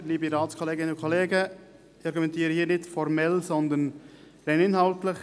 Ich argumentiere hier nicht formell, sondern rein inhaltlich.